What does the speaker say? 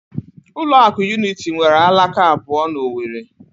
Ụlọ akụ Unity nwere alaka abụọ na Owerri